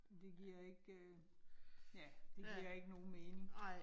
Det giver ikke. ja, det giver ikke nogen mening